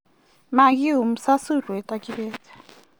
Makiume sasurwet ak kebet